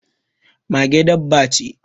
Mage dabba ce.